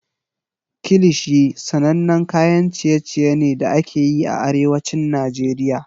Kilishi sanannen kayan ciye-ciye ne da ake yi a Arewacin Najeriya.